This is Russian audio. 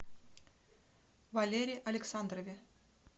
валере александрове